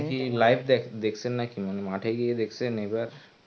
আপনি কি live দেখসেন নাকি মানে মাঠে গিয়ে দেখসেন এবার?